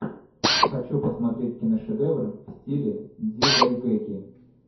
хочу посмотреть киношедевры в стиле дзидайгэки